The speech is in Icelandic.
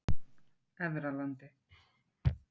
Efralandi